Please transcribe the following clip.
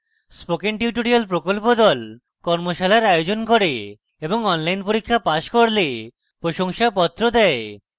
spoken tutorial প্রকল্প the কর্মশালার আয়োজন করে এবং online পরীক্ষা pass করলে প্রশংসাপত্র দেয়